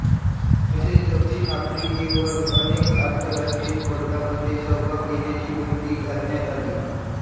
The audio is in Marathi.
तसेच दक्षिण आफ्रिकेवर अनेक आंतरराष्ट्रीय स्पर्धांमध्ये सहभाग घेण्याची बंदी घालण्यात आली